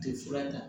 Tɛ fura ta